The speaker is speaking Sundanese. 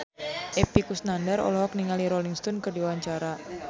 Epy Kusnandar olohok ningali Rolling Stone keur diwawancara